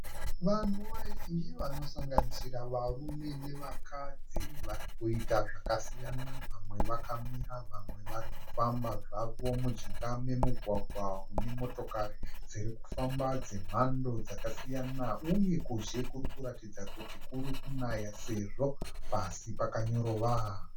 Vanhu vazhinji vanosanganisira varume nevakadzi vari kuita zvakasiyana. Vamwe vakamira vamwe varikufamba zvavo mujinga memugwagwa une motokari dziri kufamba dzemhando dzakasiyana uye kuzhe kuri kuratidza kuti kurikunaya sezvo pasi pakanyorova.